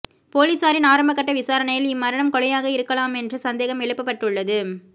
பொலிஸாரின் ஆரம்ப கட்ட விசாரணையில் இம்மரணம் கொலையாக இருக்கலாமென்று சந்தேகம் எழுப்பப்பட்டுள்ளது